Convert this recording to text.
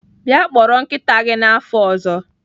Bịa kpọrọ nkịta gị n'afọ ọzọ.